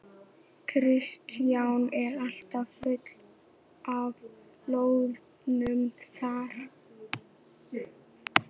Kristján: Er allt fullt af loðnu þar?